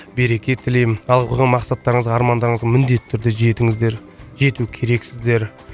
береке тілеймін алдыға қойған мақсаттарыңызға армандарыңызға міндетті түрде жетіңіздер жету керексіздер